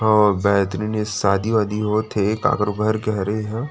और बेहतरीन शादी - वादी होते हे। काकरो घर के हरे एह।